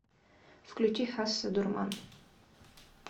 включи хасса дурман